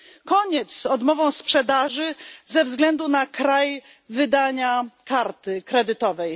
Koniec z odmową sprzedaży ze względu na kraj wydania karty kredytowej.